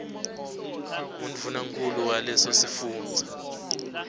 ngundvunankhulu waleso sifundza